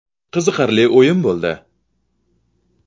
Qiziqarli o‘yin bo‘ldi.